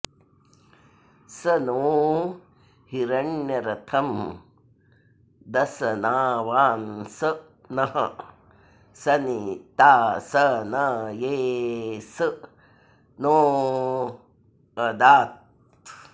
स नो॑ हिरण्यर॒थं दं॒सना॑वा॒न्स नः॑ सनि॒ता स॒नये॒ स नो॑ऽदात्